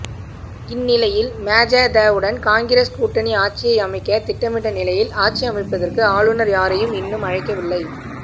இந்நிலையில் மஜதவுடன் காங்கிரஸ் கூட்டணி ஆட்சியை அமைக்க திட்டமிட்ட நிலையில் ஆட்சியமைப்பதற்கு ஆளுநர் யாரையும் இன்னும் அழைக்கவில்லை